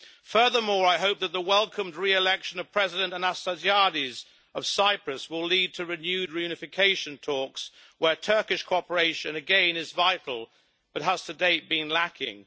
Furthermore, I hope that the welcomed re election of President Anastasiades of Cyprus will lead to renewed reunification talks, where Turkish cooperation is again vital but has, to date, been lacking.